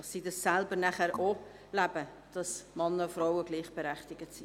So können sie anschliessend auch leben, dass Männer und Frauen gleichberechtigt sind.